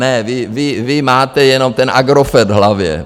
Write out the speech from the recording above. Ne, vy máte jenom ten Agrofert v hlavě.